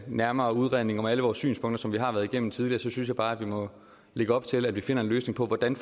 nærmere udredning af alle vores synspunkter som vi har været igennem tidligere så synes jeg bare at vi må lægge op til at vi finder en løsning på hvordan